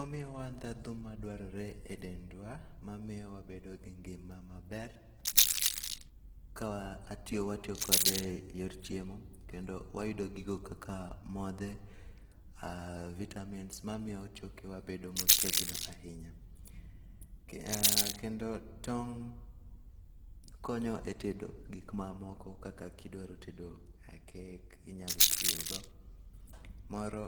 Omiyowa ndhadhu madwarore edendwa mamiyo wabedo gi ngima maber ka watiyo kode eyor chiemo kendo wayudo gigo kaka modhe, aa vitamins mamiyo chokewa bedo motegno ahinya. Aa kendo tong' konyo e tedo gik mamoko kaka kidwaro tedo kek inyalo tiyo go, moro